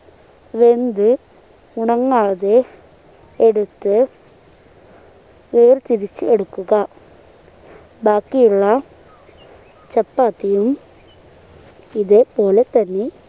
വെന്ത് ഉണങ്ങാതെ എടുത്ത് വേർതിരിച്ചു എടുക്കുക ബാക്കിയുള്ള ചപ്പാത്തിയും ഇതേ പോലെ തന്നെ